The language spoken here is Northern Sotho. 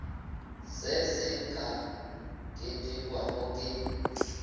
se se ka ketekwago ke